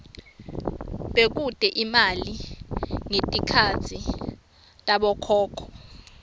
bekute imali ngetikhatsi tabokhokho